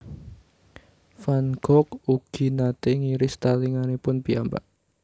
Van Gogh ugi naté ngiris talinganipun piyambak